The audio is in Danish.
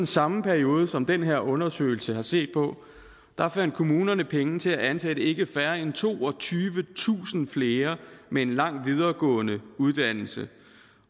samme periode som den her undersøgelse har set på fandt kommunerne penge til at ansætte ikke færre end toogtyvetusind flere med en lang videregående uddannelse